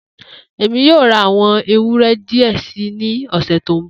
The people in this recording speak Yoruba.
Emi yoo ra awọn ewúrẹ́ diẹ sii ni ọsẹ to nbọ.